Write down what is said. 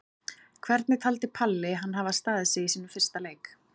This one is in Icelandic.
Hvernig taldi Palli hann hafa staðið sig í sínum fyrsta leik?